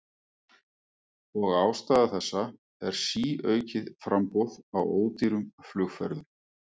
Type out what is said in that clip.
Og ástæða þessa er síaukið framboð á ódýrum flugferðum.